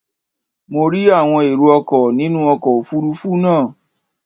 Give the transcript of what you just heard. Mo rí àwọn erò ọkọ̀ nínú ọkọ̀ òfurufú náà.